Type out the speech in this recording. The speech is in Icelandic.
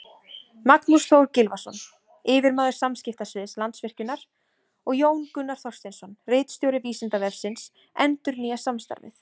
Magnús Þór Gylfason, yfirmaður samskiptasviðs Landsvirkjunar, og Jón Gunnar Þorsteinsson, ritstjóri Vísindavefsins, endurnýja samstarfið.